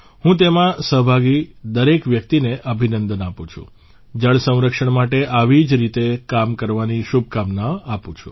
હું તેમાં સહભાગી દરેક વ્યક્તિને અભિનંદન આપું છું જળસંરક્ષણ માટે આવી જ રીતે કામ કરવાની શુભકામના આપું છું